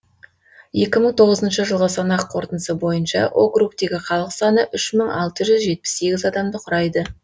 екі мың тоғызыншы жылғы санақ қорытындысы бойынша округтегі халық саны үш мың алты жүз жетпіс сегіз адамды құрайды